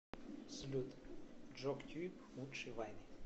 салют джок тьюб лучшие вайны